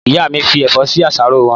Ìyá mí fi ẹ̀fọ́ sí àsáró wọn